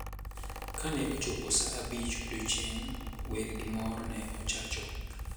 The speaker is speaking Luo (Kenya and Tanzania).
Kane ochopo sa abich odiechieng` wer gi mor ne ochacho.